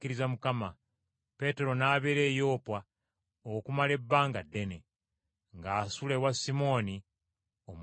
Peetero n’abeera e Yopa okumala ebbanga ddene, ng’asula ewa Simooni omuwazi w’amaliba.